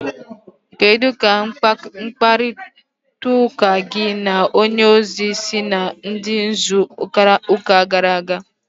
kedu ka mkparịtaụka gị na onye ozi si dị n'izu gara aga?